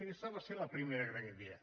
aquesta va ser la primera gran idea